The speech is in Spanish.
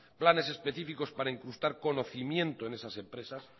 planes específicos para incrustar conocimiento en esas empresas